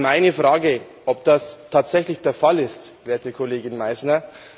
Meine Frage wäre, ob das tatsächlich der Fall ist, werte Kollegin Meissner.